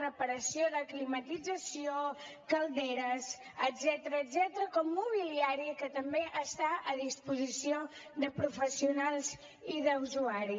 reparació de climatització calderes etcètera com mobiliari que també està a disposició de professionals i d’usuaris